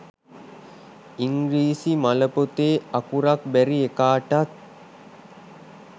ඉංග්‍රීසි මල පොතේ අකුරක් බැරි එකාටත්